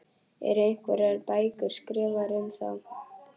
Eru einhverjar bækur skrifaðar um þá?